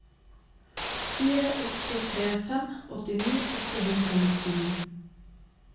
fire åtte tre fem åttini åtte hundre og nittini